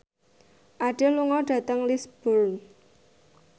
Adele lunga dhateng Lisburn